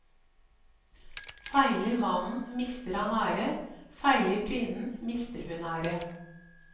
Feiler mannen mister han ære, feiler kvinnen mister hun ære.